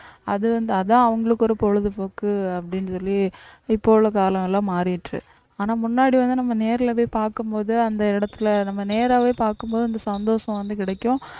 அது வந்து அதான் அவங்களுக்கு ஒரு பொழுதுபோக்கு அப்படின்னு சொல்லி இப்ப உள்ள காலம்லாம் மாறிற்று ஆனா முன்னாடி வந்து நம்ம நேரிலே போய் பார்க்கும் போது அந்த இடத்திலே நம்ம நேராவே பார்க்கும் போது அந்த சந்தோஷம் வந்து கிடைக்கும்